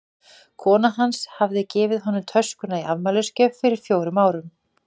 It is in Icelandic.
Kona hans hafði gefið honum töskuna í afmælisgjöf fyrir fjórum árum.